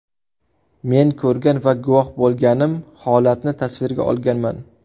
Men ko‘rgan va guvoh bo‘lganim holatni tasvirga olganman.